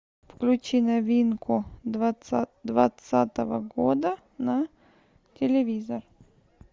включи новинку двадцатого года на телевизор